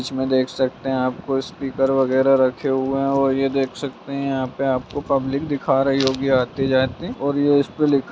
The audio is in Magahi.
इसमें देख सकते है आपको स्पीकर वगेरा रखे हुए है और यह देख सकते है यहाँ पर आप को पब्लिक दिखा रही होगी आते-जाते और ये इस पर लिखा --